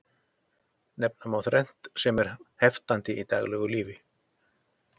Nefna má þrennt sem er heftandi í daglegu lífi.